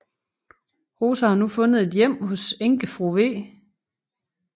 Rosa har nu fundet et hjem hos enkefru v